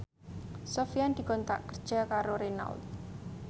Sofyan dikontrak kerja karo Renault